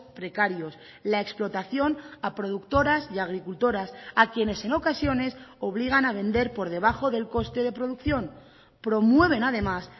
precarios la explotación a productoras y agricultoras a quienes en ocasiones obligan a vender por debajo del coste de producción promueven además